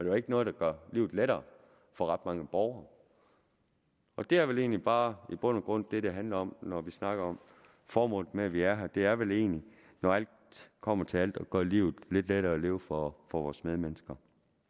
jo ikke noget der gør livet lettere for ret mange borgere det er vel egentlig bare i bund og grund det det handler om når vi snakker om formålet med at vi er her det er vel egentlig når alt kommer til alt at gøre livet lidt lettere at leve for vores medmennesker